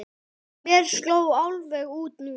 Mér sló alveg út núna.